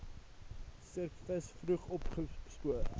serviks vroeg opgespoor